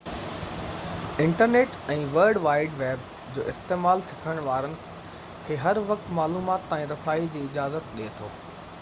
internet ۽ world wide web جو استعمال سکڻ وارن کي هر وقت معلومات تائين رسائي جي اجازت ڏي ٿو